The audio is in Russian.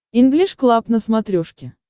инглиш клаб на смотрешке